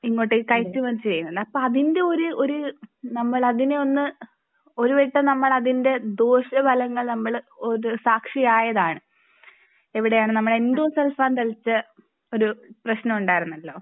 ഇങ്ങോട്ടേക്ക് കയറ്റുമതി ചെയ്യുന്നത് അപ്പോ അതിന്റെ ഒരു ഒരു നമ്മൾ അതിനെ ഒന്നു ഒരു വട്ടം നമ്മൾ അതിന്റെ ദോഷഫലങ്ങൾ നമ്മൾ സാക്ഷി ആയത് ആണ് എവിടെ ആണ് നമ്മൾ എൻഡോസൾഫാൻ തളിച്ച ഒരു പ്രശ്നം ഉണ്ടാരുന്നല്ലോ